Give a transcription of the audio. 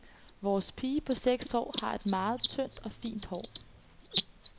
Vores pige på seks år har et meget tyndt og fint hår.